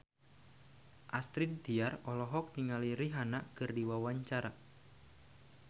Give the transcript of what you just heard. Astrid Tiar olohok ningali Rihanna keur diwawancara